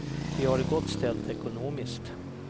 Vi har det gott ställt ekonomiskt.